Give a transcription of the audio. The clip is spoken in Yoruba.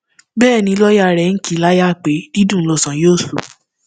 bẹẹ ni lọọyà rẹ ń kì í láyà pé dídùn lọsàn yóò sọ